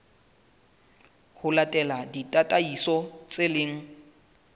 ho latela ditataiso tse leng